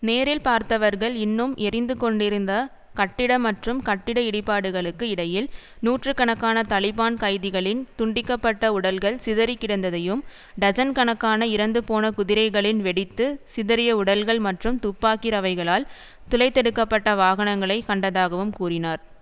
நேரில் பார்த்தவர்கள் இன்னும் எரிந்து கொண்டிருந்த கட்டிட மற்றும் கட்டிட இடிபாடுகளுக்கு இடையில் நூற்று கணக்கான தலிபான் கைதிகளின் துண்டிக்கப்பட்ட உடல்கள் சிதறி கிடந்ததையும் டஜன் கணக்கான இறந்துபோன குதிரைகளின் வெடித்து சிதறிய உடல்கள் மற்றும் துப்பாக்கி ரவைகளால் துளைத்தெடுக்கப்பட்ட வாகனங்களை கண்டதாகவும் கூறினார்